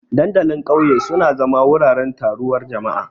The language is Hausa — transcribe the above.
Dandalin ƙauye suna zama wuraren taruwar jama'a.